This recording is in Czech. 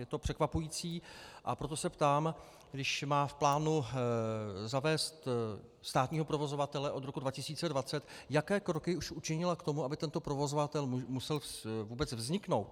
Je to překvapující, a proto se ptám, když má v plánu zavést státního provozovatele od roku 2020, jaké kroky už učinila k tomu, aby tento provozovatel musel vůbec vzniknout.